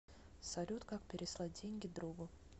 салют как переслать деньги другу